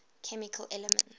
chemical elements